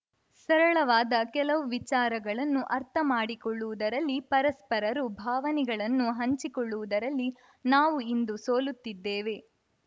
ಸರಳವಾದ ಕೆಲವು ವಿಚಾರಗಳನ್ನು ಅರ್ಥ ಮಾಡಿಕೊಳ್ಳುವುದರಲ್ಲಿ ಪರಸ್ಪರರು ಭಾವನೆಗಳನ್ನು ಹಂಚಿಕೊಳ್ಳುವುದರಲ್ಲಿ ನಾವು ಇಂದು ಸೋಲುತ್ತಿದ್ದೇವೆ